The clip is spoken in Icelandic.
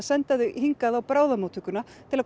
senda þau hingað á bráðamóttökuna til að